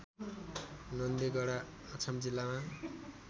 नन्देगडा अछाम जिल्लामा